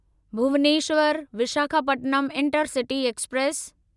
Bhubaneswar Visakhapatnam intercity express